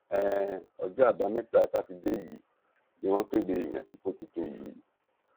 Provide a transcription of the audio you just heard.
um ọjọ́ àbámẹ́ta sátidé yìí ni wọ́n kéde ìyànsípò tuntun yìí